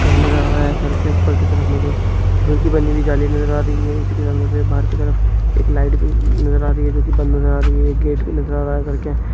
घर के ऊपर की तरफ मुझे दूध की बनी हुई जाली नजर आ रही है इसलिए सर मुझे बाहर की तरफ एक लाइट भी नजर आ रही है जो कि बंद हो जा रही है गेट भी नजर आ रहा है घर के--